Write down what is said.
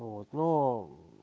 вот ну